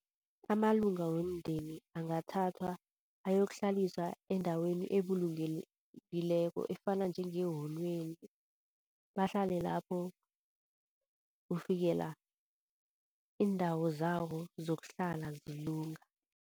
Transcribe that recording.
Amalunga womndeni angathathwa ayokuhlaliswa endaweni ebulungekileko efana njengeholweni, bahlale lapho kufikela iindawo zabo zokuhlala zilunga.